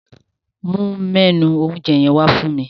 Mu mẹ́nù oúnjẹ yẹn wá fún mi.